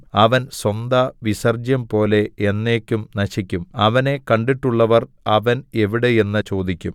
അവൻ സ്വന്തവിസർജ്ജ്യംപോലെ എന്നേക്കും നശിക്കും അവനെ കണ്ടിട്ടുള്ളവർ അവൻ എവിടെ എന്നു ചോദിക്കും